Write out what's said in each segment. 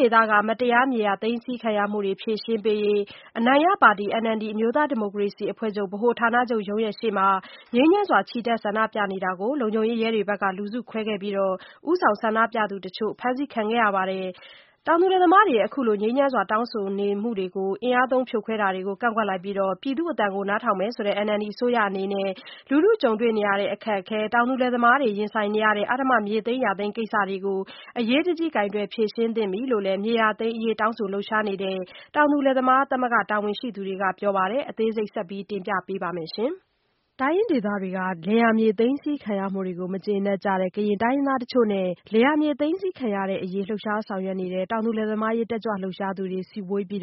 ဒေသက မတရားမြေယာသိမ်းဆည်းခံရမှုတွေ ဖြေရှင်းပေးရေး အနိုင်ရပါတီ NLD အမျိုးသားဒီမိုကရေစီအဖွဲ့ချုပ် ဗဟိုဌာနချုပ်ရုံးရှေ့မှာ ငြိမ်းချမ်းစွာ ချီတက်ဆန္ဒပြမှုကို လုံခြုံရေးတွေရဲတွေဘက်က လူစုခွဲခဲ့ပြီး ဦးဆောင်ဆန္ဒပြသူတချို့ အဖမ်းဆီးခံခဲ့ရပါတယ်။ တောင်သူလယ်သမား တွေရဲ့အခုလိုငြိမ်းချမ်းစွာ တောင်းဆိုနေမှုတွေကို အင်အားသုံး ဖြိုခွဲမှုတွေကို ကန့်ကွက်လိုက်ပြီး ပြည်သူအသံကို နားထောင်မယ်ဆိုတဲ့ NLD အစိုးရ အနေနဲ့ လူထုကြုံတွေ့နေရတဲ့အခက်အခဲနဲ့ တောင်သူလယ်သားတွေ ရင်ဆိုင်နေရတဲ့ အဓမ္မမြေသိမ်းယာသိမ်းကိစ္စတွေကို အရေးတကြီးကိုင်တွယ်ဖြေရှင်းသင့်ပြီ လို့လည်း မြေယာသိမ်းအရေး တောင်းဆိုလှုပ်ရှားနေတဲ့ တောင်သူလယ်သမားသမဂ္ဂ တာဝန်ရှိ သူတွေကပြောပါတယ်။ အသေးစိတ်ကို မဆုမွန်က တင်ဆက် ပေးထားပါတယ်။ တိုင်းရင်းဒေသတွေက လယ်ယာမြေသိမ်းဆည်းခံရမှုတွေကို မကျေနပ်ကြတဲ့ ကရင် တိုင်းရင်းသား တချို့နဲ့ လယ်ယာမြေသိမ်းဆည်းခံရတဲ့ အရေး လှုပ်ရှား ဆောင်ရွက်နေတဲ့ တောင်သူ လယ်သမားရေးတက်ကြွလှုပ်ရှားသူတွေ စုဝေးပြီး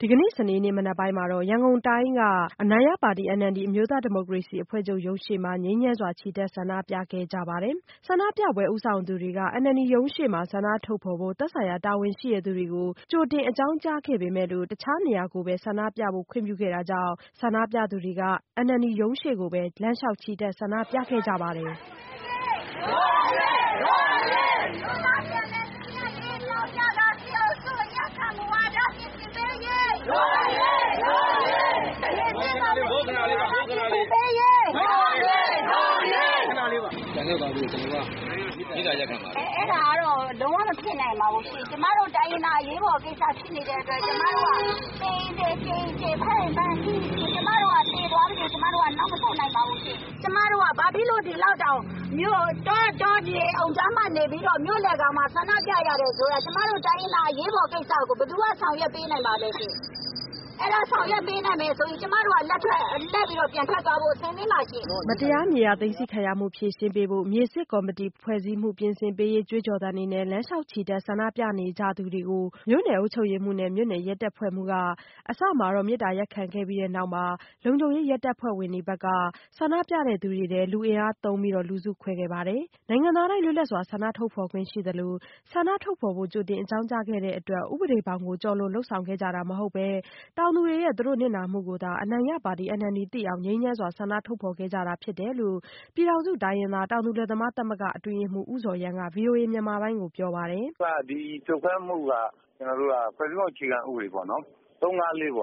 ဒီကနေ့ စနေနေ့ မနက်ပိုင်းမှာတော့ ရန်ကုန်တိုင်းက အနိုင်ရပါတီ NLD အမျိုးသားဒီမိုကရေစီ အဖွဲ့ချုပ် ရုံးရှေ့ မှာ ငြိမ်းချမ်းစွာချီတက်ဆန္ဒပြခဲ့ကြပါတယ်။ ဆန္ဒပြပွဲဦးဆောင်သူတွေက NLD ရုံးရှေ့မှာ ဆန္ဒထုတ်ဖော်ဖို့ သက်ဆိုင်ရာ တာဝန်ရှိသူတွေကို ကြိုတင်အကြောင်း ကြား ခဲ့ပေမဲ့ အခြားနေရာကိုပဲ ဆန္ဒပြဖို့ ခွင့်ပြုခဲ့တာကြောင့် ဆန္ဒပြသူတွေက NLD ရုံးရှေ့ကိုပဲ လမ်းလျှောက်ချီတက် ဆန္ဒပြခဲ့ကြပါတယ်။ "...တို့အရေး၊ တို့အရေး၊ အမျိုးသားပြန်လည်သင့်မြတ်ရေးအကြောင်းပြကာ စစ်အုပ်စု အညံ့ခံ မူဝါဒ ပြင်ဆင်ပေးရေး - တို့အရေး၊ တို့အရေး..." "ပြန်လှည့်သွားဖို့ ကျနော်တို့က မေတ္တာရပ်ခံပါတယ်။" "အဲဒါကတော့ လုံးဝမဖြစ်နိုင်ပါဘူးရှင်။ ကျမတို့ တိုင်းရင်းသား အရေးပေါ်ကိစ္စဖြစ်နေတဲ့ အတွက်ကြောင့် ကျမတို့က သေရင်သေ၊ ကြေရင်ကြေ၊ ဖမ်းရင်ဖမ်း၊ ဆီးရင်ဆီး၊ ကျမတို့က သေသွားပစေ၊ နောက်မဆုတ်နိုင်ပါဘူး။ ကျမတို့က ဘာဖြစ်လို့ တောခြေအုံဖျားမှာ နေပြီးတော့ မြို့လည်ကောင်မှာ ဆန္ဒပြရတယ်ဆိုတာ ကျမတို့ တိုင်းရင်းသား အရေးပေါ်ကိစ္စကို ဘယ်သူက ဆောင်ရွက်ပေးနိုင်မှာလဲရှင့်။ အဲဒါ ဆောင်ရွက်ပေးနိုင် မယ်ဆိုရင် ကျမတို့ လှည့်ပြီးတော့ ပြန်ထွက်သွားဖို့ အဆင်သင့်ပါရှင့်။" မတရားမြေယာသိမ်းဆည်းခံရမှုတွေ ဖြေရှင်းပေးရေး -မြေစစ်ကော်မတီဖွဲ့စည်းမှု ပြင် ဆင်ပေး ရေး ကြွေးကြော်သံတွေနဲ့ လမ်းလျှောက်ချီတက် ဆန္ဒပြနေသူတွေကို မြို့နယ် အုပ်ချုပ်ရေးမှူးနဲ့ မြို့နယ်ရဲတပ်ဖွဲ့မှူးက အစမှာ မေတ္တာရပ်ခံခဲ့ပြီးနောက်မှာတော့ လုံခြုံရေးရဲတပ်ဖွဲ့ဝင်တွေဘက်က လူအင်အားသုံးလူစုခွဲခဲ့ပါတယ်။ နိုင်ငံသားတိုင်း လွတ်လပ်စွာ ဆန္ဒထုတ်ဖော်ပိုင်ခွင့်ရှိသလို ဆန္ဒထုတ်ဖော်ဖို့ ကြိုတင် အကြောင်းကြားခဲ့တဲ့အတွက် ဥပဒေဘောင်ကို ကျော်လွန် လုပ်ဆောင်ကြတာမဟုတ်ပဲ တောင်သူရဲ့နစ်နာမှုကိုသာ အနိုင်ရပါတီNLD သိအောင် ငြိမ်းချမ်းစွာ ဆန္ဒထုတ် ဖော်ခဲ့ကြတာ ဖြစ်တယ်လို့ ပြည်ထောင်စု တိုင်းရင်းသား တောင်သူလယ်သမားသမဂ္ဂ အတွင်းရေးမှူး ဦးဇော်ရမ်းက ဗွီအိုအေမြန်မာပိုင်းကိုပြောပါတယ်။ "'ဒီဖြိုခွဲမှုက ဖွဲ့စည်းပုံအခြေခံဥပဒေပေါ့နော်-၃၅၄ အ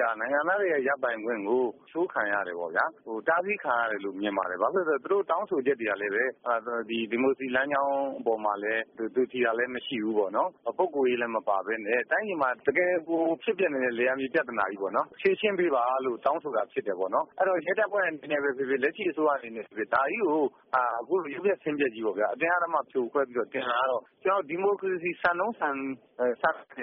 ရ နိုင်ငံသားတွေရဲ့ ရပိုင်ခွင့်ကို အချိုးခံရ တယ်ပေါ့ဗျာ၊ တားဆီးခံရတယ်လို့ မြင်ပါတယ်။ ဘာဖြစ်လို့လဲဆိုတော့ သူတို့တောင်းဆို ချက်တွေကလည်း ဒီမိုကရေစီလမ်းကြောင်းအပေါ်မှာလည်း သွေဖြည် တာလည်း မရှိဘူးပေါ့နော်၊ ပုဂ္ဂိုလ်ရေးလည်း မပါဘဲနဲ့ တိုင်းပြည်မှာ တကယ်ကို ဖြစ်ပျက်နေ တဲ့ လယ်ယာမြေ ပြဿနာကြီးကို ဖြေရှင်းပေးပါလို့ တောင်းဆိုတာ ဖြစ်တယ်ပေါ့နော်။ အဲဒီတော့ ရဲတပ်ဖွဲ့ အနေနဲ့ပဲဖြစ်ဖြစ်၊ လက်ရှိအစိုးရအနေနဲ့ပဲဖြစ်ဖြစ် ဒါကြီးကို အခုလို ရုပ်ပျက်ဆင်းပျက်ကြီးပေါ့ဗျာ-အတင်းအဓမ္မ ဖြိုခွဲပြီးတော့..တာကတော့ ဒီမိုကရေစီစံနှုန်း နဲ့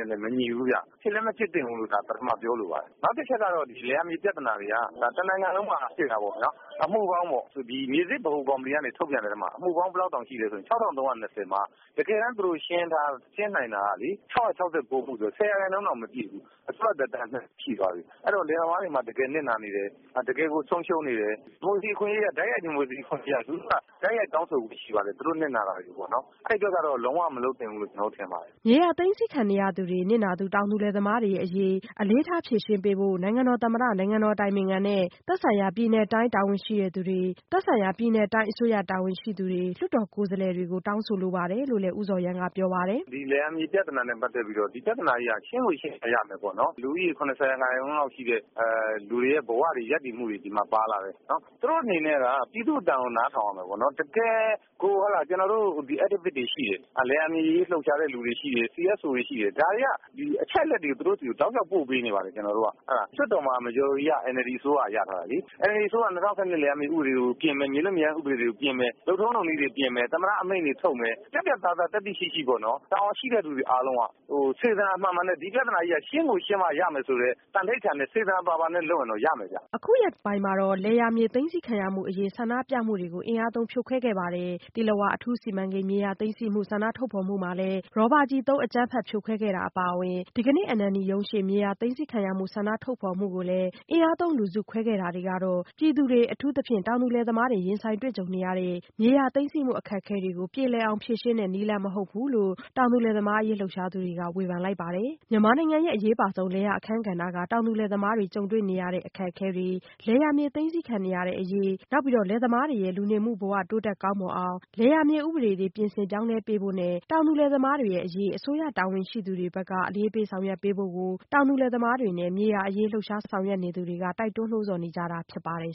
လည်း မညီဘူးဗျ။ ဖြစ်လည်းမဖြစ်သင့်ဘူးလို့ ဒါကို ပထမ ပြောလိုပါတယ်။ နောက်တချက် ကတော့ လယ်ယာမြေ ပြဿနာတွေက တနိုင်ငံလုံးမှာ ဖြစ်နေတာပေါ့ဗျာ။ မြေစစ်ဗဟိုကော်မတီကနေ ထုတ်ပြန်တဲ့အထဲမှာ အမှုပေါင်း ၆,၃၂၀ မှာ တကယ်တန်း သူတို့ရှင်းနိုင်တာကလေ ၆၆၉ မှုဆိုတော့ ဆယ်ရာခိုင်နှုန်းတောင် မပြည့်ဘူး။ အစိုးရသက်တမ်း -- ရှိသွားပြီ။ အဲဒီတော့ လယ်သမားတွေမှာ တကယ်နစ်နာနေတယ်၊ တကယ် ကို ဆုံးရှုံးနေတယ်။ တိုက်ရိုက် ဒီမိုကရေစီအခွင့်အရေးအရ လူထုက သူတို့ နစ်နာတာတွေကို တိုက်ရိုက်တောင်းဆိုခွင့်ရှိပါတယ်။ အဲဒီအတွက်ကတော့ လုံးဝ မလုပ်သင့် ဘူးလို့ ကျနော်တို့ထင်ပါတယ်။" မြေယာသိမ်းဆည်းခံနေရတဲ့ နစ်နာသူ တောင်သူလယ်သမားတွေအရေး အလေးထား ဖြေရှင်းပေးဖို့ နိုင်ငံတော်သမ္မတ- နိုင်ငံတော်အတိုင်ပင်ခံနဲ့ သက်ဆိုင်ရာပြည်နယ်တိုင်း အစိုးရတာဝန်ရှိသူတွေ- လွှတ်တော်ကိုယ်စားလှယ်တွေကို တောင်းဆိုလိုပါတယ်လို့- ဦးဇော်ရမ်းကပြောပါတယ်။ "ဒီလယ်ယာမြေ ပြဿနာနဲ့ပတ်သက်ပြီးတော့ ဒီပြဿနာကြီးက ရှင်းကိုရှင်းမှ ရမယ် ပေါ့နော်၊ လူဦးရေ ၇၀ % လောက်ရှိတဲ့ လူတွေရဲ့ဘဝတွေ၊ ရပ်တည်မှုတွေ ဒီမှာ ပါလာ တယ်။ သူတို့အနေနဲ့က ပြည်သူ့အသံကို နားထောင်ရမယ်ပေါ့နော်၊ တကယ်ကို ကျနော်တို့ Activists တွေရှိတယ်။ လယ်ယာမြေအရေး လှုပ်ရှားတဲ့သူတွေ ရှိတယ်။ CSO တွေရှိ တယ်။ ဒါတွေက အချက်အလက်တွေကို သူတို့ဆီကို တောက်လျှောက် ပို့ပေးနေပါတယ်။ လွှတ်တော်မှာ Majority က NLD အစိုးရက ရထားတာလေ။ NLD အစိုးရက ၂၀၁၂ လယ်ယာမြေ ဥပဒေကို ပြင်မယ်၊ မြေလွတ်မြေရိုင်း ဥပဒေတွေကို ပြင်မယ်၊ လုပ်ထုံး လုပ်နည်းတွေ ပြင်မယ်၊ သမ္မတအမိန့်တွေ ထုတ်မယ်၊ ပြတ်ပြတ် သားသား သတ္တိရှိရှိ ပေါ့နော်၊ တာဝန်ရှိတဲ့လူတွေ အားလုံးက စေတနာမှန်မှန်နဲ့ ဒီပြဿနာကြီးက ရှင်းကိုရှင်းမှ ရမယ်ဆိုတဲ့ သံန္နိဌာန်နဲ့ စေတနာပါပါနဲ့လုပ်မယ်ဆိုရင်တော့ ရမယ်ဗျ။" အခုရက်ပိုင်းမှာမှာတော့ လယ်ယာမြေသိမ်းဆည်းမှုဆန္ဒပြမှုတွေကို အင်အားသုံးဖြိုခွင်းခဲ့ပါ တယ်။ သီလဝါ အထူးစီမံကိန်း မြေယာသိမ်းဆည်းမှု ဆန္ဒထုတ်ဖော်မှုကိုလည်း ရော်ဘာ ကျည်သုံး အကြမ်းဖက်ဖြိုခွဲခဲ့တာအပါအဝင် ဒီကနေ့ NLD ရုံးရှေ့ မြေယာ သိမ်းဆည်းခံရ မှုတွေအပေါ် ဆန္ဒထုတ်ဖော်မှုကို အင်အားသုံးလူစုခွဲခဲ့တာတွေကတော့- ပြည်သူတွေ အထူးသဖြင့် တောင်သူလယ်သမားတွေ ရင်ဆိုင်တွေ့ကြံနေရတဲ့ မြေယာသိမ်းဆည်းမှု အခက်အခဲတွေကို ပြေလည်အောင် ဖြေရှင်းတဲ့ နည်းလမ်း မဟုတ်ဘူးလို့ တောင်သူ လယ်သမားရေးလှုပ်ရှားသူတွေက ဝေဖန်လိုက်ပါတယ်။ မြန်မာနိုင်ငံရဲ့ အရေးပါဆုံး လယ်ယာအခန်းကဏ္ဍက တောင်သူလယ်သမားတွေရဲ့ ကြုံတွေ့နေရတဲ့ အခက်အခဲတွေ လယ်ယာမြေသိမ်းဆည်းခံ ရတဲ့အရေး- လယ်သမားတွေ ရဲ့ လူနေမှုဘဝတွေ တိုးတက်ကောင်းမွန်အောင် လယ်ယာမြေ ဥပဒေတွေ ပြင်ဆင် ပြောင်းလဲပေးဖို့ နဲ့ တောင်သူ လယ်သမားတွေအရေး အစိုးရတာဝန်ရှိသူတွေဘက်က အလေးပေးဆောင်ရွက်ပေးဖို့ကို တောင်သူလယ်သမားတွေနဲ့ မြေယာအရေး လှုပ်ရှားဆောင်ရွက်နေသူတွေက တိုက်တွန်းနိုးဆော်နေကြတာဖြစ်ပါတယ်